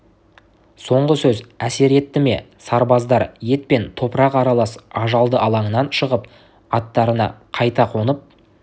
соңғы сөз әсер етті ме сарбаздар ет пен топырақ аралас ажалды алаңнан шығып аттарына қайта қонып